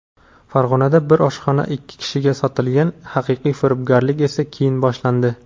Farg‘onada bir oshxona ikki kishiga sotilgan: haqiqiy firibgarlik esa keyin boshlandi.